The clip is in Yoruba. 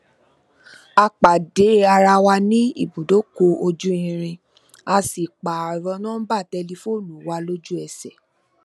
a pàdé ara wa ní ibùdókò ojú irin a sì pààrò nóńbà tẹlifóònù wa lójú ẹsè